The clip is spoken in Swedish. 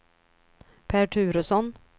Pär Turesson